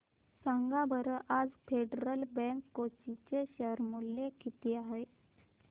सांगा बरं आज फेडरल बँक कोची चे शेअर चे मूल्य किती आहे